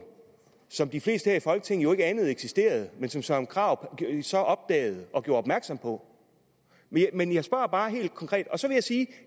som de fleste her i folketinget jo ikke anede eksisterede men som søren krarup så opdagede og gjorde opmærksom på men jeg spørger bare helt konkret